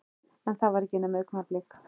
En það var ekki nema augnablik.